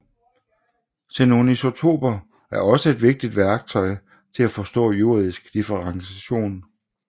Xenonisotoper er også et vigtigt værktøj til at forstå jordisk differentiation